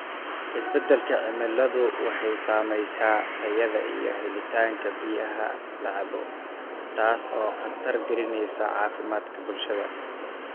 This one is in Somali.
Isbeddelka cimiladu waxay saamaysaa tayada iyo helitaanka biyaha la cabbo, taas oo khatar gelinaysa caafimaadka bulshada.